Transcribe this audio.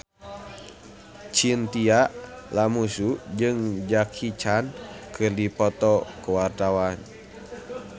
Chintya Lamusu jeung Jackie Chan keur dipoto ku wartawan